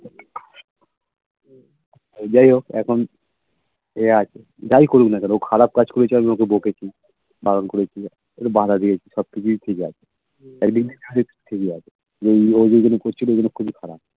যাই হোক এখন ঐ আরকি যাই করুক না কেন ও খারাপ কাজ করেছে আমি ওকে বকেছি, বারণ করেছি ওকে বাঁধা দিয়েছি সব কিছুই ঠিক একদিক দিয়ে ঠিকই আছে ও যেগুলো করছিলো ঐগুলো খুবই খারাপ